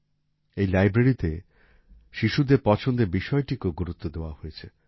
এই লাইব্রেরীতে শিশুদের পছন্দের বিষয়টিকেও গুরুত্ব দেয়া হয়েছে